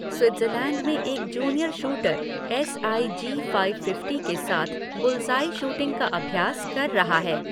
Switzerland में एक junior shooter S I G five fifty के साथ बुल्सआई शूटिंग का अभ्यास कर रहा है।